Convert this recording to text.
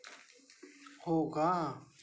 हो का?